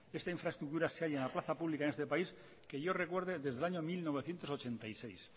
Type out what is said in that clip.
esta infraestructura se halla en la plaza pública de este país que yo recuerde desde el año mil novecientos ochenta y seis